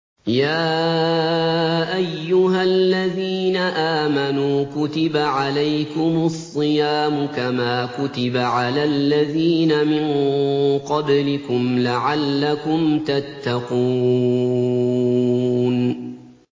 يَا أَيُّهَا الَّذِينَ آمَنُوا كُتِبَ عَلَيْكُمُ الصِّيَامُ كَمَا كُتِبَ عَلَى الَّذِينَ مِن قَبْلِكُمْ لَعَلَّكُمْ تَتَّقُونَ